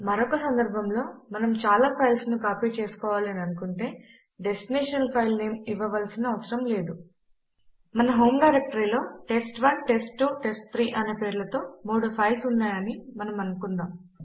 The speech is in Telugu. మరొక సందర్భంలో మనము చాలా ఫైల్స్ ను కాపీ చేసుకోవాలి అని అనుకుంటే డెస్టినేషన్ ఫైల్ నేమ్ ఇవ్వవలసిన అవసరము లేదు మన హోమ్ డైరెక్టరీలో టెస్ట్1 టెస్ట్2 టెస్ట్3 అనే పేర్లతో మూడు ఫైల్స్ ఉన్నాయి అని మనము అనుకుందాం